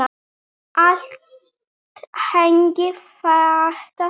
Allt hangir þetta saman.